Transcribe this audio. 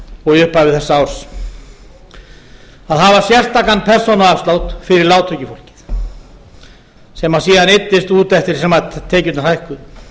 og í upphafi þessa árs að hafa sérstakan persónuafslátt fyrir lágtekjufólk sem síðan eyddist út eftir því sem tekjurnar hækkuðu